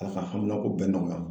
A ka haminanko bɛɛ nɔgɔya